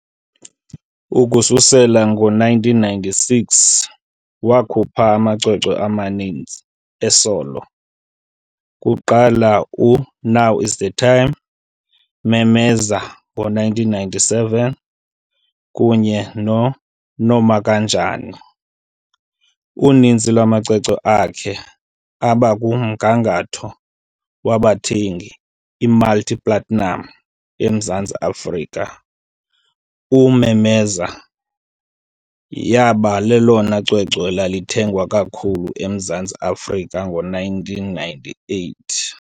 ukususela ngo-1996 wakhupha amacwecwe amaninzi e-"solo", kuquka u"Now Is the Time", "Memeza", ngo1997, kunye no"Nomakanjani?". Uninzi lwamacwecwe akhe abakumgangatho wabathengi i-multi-platinum eMzantsi Afrika, u"Memeza" yaba lelona cwecwe lathengwa kakhulu eMzantsi Afrika ngo1998.